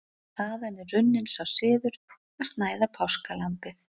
Þaðan er runninn sá siður að snæða páskalambið.